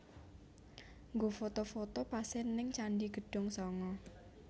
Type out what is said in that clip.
Nggo foto foto pase ning Candi Gedong Sanga